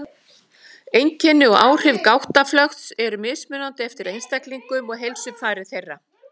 Einkenni og áhrif gáttaflökts eru mismunandi eftir einstaklingum og heilsufari þeirra.